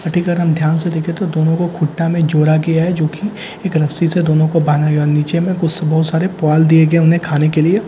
अधिक अगर हम ध्यान से देखे तो दोनों को खुट्टा में जोड़ा गया है जोकि एक रस्सी से दोनों को बांधा गया और नीचे में कुछ तो बहुत सारे पुआल दिये गए उन्हें खाने के लिए।